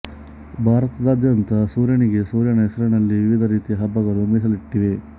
ಭಾರತದಾದ್ಯಂತ ಸೂರ್ಯನಿಗೆ ಸೂರ್ಯನ ಹೆಸರಿನಲ್ಲಿ ವಿವಿಧ ರೀತಿಯ ಹಬ್ಬಗಳು ಮೀಸಲಿಟ್ಟಿವೆ